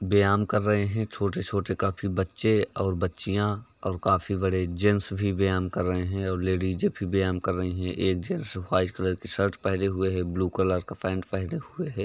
व्यायाम कर रहे हैं। छोटे-छोटे काफी बच्चे और बच्चियाॅं और काफी बड़े जेंट्स भी व्यायाम कर रहे हैं और लेडीजे भी व्यायाम कर रहीं हैं। एक जेट्स व्हाइट कलर का शर्ट ब्लू कलर का पैंट पहने हुए है।